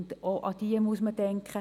Auch daran muss man denken.